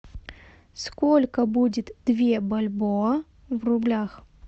сколько будет две бальбоа в рублях